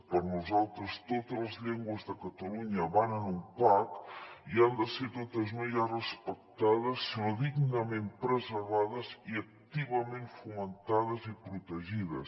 per nosaltres totes les llengües de catalunya van en un pack i han de ser totes no ja respectades sinó dignament preservades i activament fomentades i protegides